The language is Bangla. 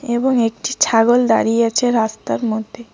এবং একটি ছাগল দাঁড়িয়ে আছে রাস্তার মধ্যে।